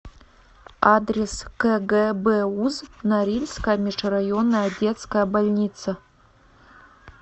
адрес кгбуз норильская межрайонная детская больница